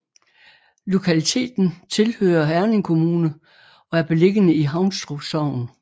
Lokaliteten tilhører Herning Kommune og er beliggende i Haunstrup Sogn